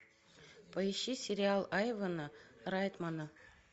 поищи сериал айвена райтмона